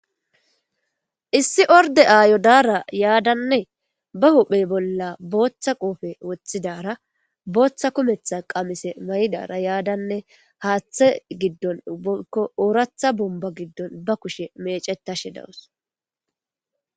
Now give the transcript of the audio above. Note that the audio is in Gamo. Issi ordde aayo daara yaadane ba huphe bolla booththa koope wothidaara booththa kumetha qamise mayidara yaadanne haaththe giddon woyko ooratha bombba giddon ba kushe meecetashe dawus.